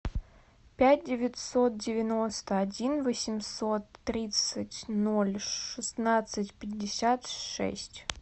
пять девятьсот девяносто один восемьсот тридцать ноль шестнадцать пятьдесят шесть